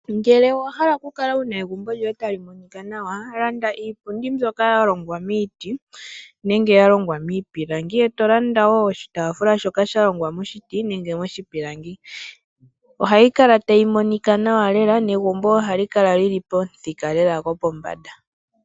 Ngele owahala oku kala wuna egumbo lyoye ta li monika nawa, landa iipundi mbyoka yalongwa miiti, nenge miipilangi, eto landa woo oshitaafula shoka shalongwa moshiti, nenge moshipilangi, oha yi kala tayi monika nawa lela, negumbo oha li kala lyi li pomuthika go pombanda.